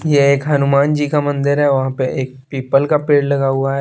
ये एक हनुमान जी का मंदिर है ओ वहाँ पे एक पीपल का पेड़ लगा हुआ है।